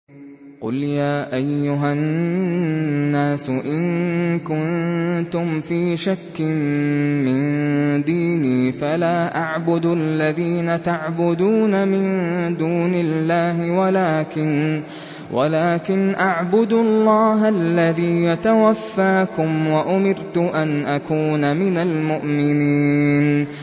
قُلْ يَا أَيُّهَا النَّاسُ إِن كُنتُمْ فِي شَكٍّ مِّن دِينِي فَلَا أَعْبُدُ الَّذِينَ تَعْبُدُونَ مِن دُونِ اللَّهِ وَلَٰكِنْ أَعْبُدُ اللَّهَ الَّذِي يَتَوَفَّاكُمْ ۖ وَأُمِرْتُ أَنْ أَكُونَ مِنَ الْمُؤْمِنِينَ